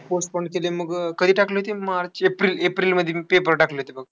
Postpone केली आणि मग कधी टाकली होती? मार्च एप्रिल-एप्रिलमध्ये मी paper टाकले होते बघ.